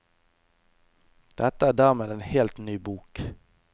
Dette er dermed en helt ny bok.